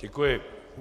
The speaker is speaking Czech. Děkuji.